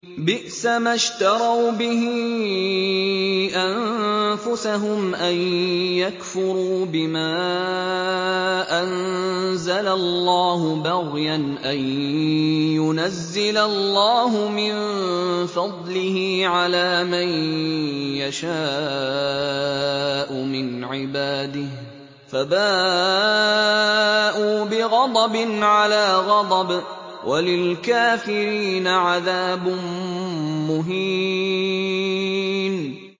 بِئْسَمَا اشْتَرَوْا بِهِ أَنفُسَهُمْ أَن يَكْفُرُوا بِمَا أَنزَلَ اللَّهُ بَغْيًا أَن يُنَزِّلَ اللَّهُ مِن فَضْلِهِ عَلَىٰ مَن يَشَاءُ مِنْ عِبَادِهِ ۖ فَبَاءُوا بِغَضَبٍ عَلَىٰ غَضَبٍ ۚ وَلِلْكَافِرِينَ عَذَابٌ مُّهِينٌ